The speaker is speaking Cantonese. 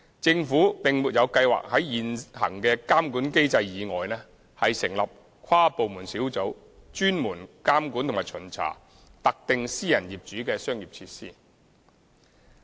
政府並沒有計劃在現行的監管機制以外，成立跨部門小組專門監管及巡查特定私人業主的商業設施。